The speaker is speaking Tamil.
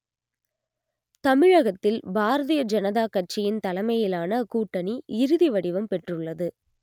தமிழகத்தில் பாரதிய ஜனதா கட்சியின் தலைமையிலான கூட்டணி இறுதிவடிவம் பெற்றுள்ளது